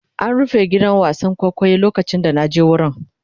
An rufe gidan wasan kwaikwayo lokacin da na je wurin.